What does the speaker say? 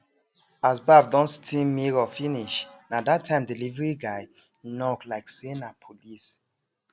as baff don steam mirror finish na that time delivery guy knock like say na police